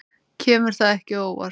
Kemur það ekki á óvart.